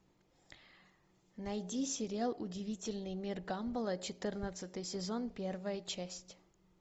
найди сериал удивительный мир гамбола четырнадцатый сезон первая часть